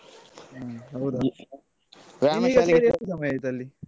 ಹ್ಮ್ ಹೌದಾ ವ್ಯಾಯಾಮ ಶಾಲೆಗೆ ನೀನೀಗ ಸೇರಿ ಎಷ್ಟು ಸಮಯ ಆಯ್ತು ಅಲ್ಲಿ?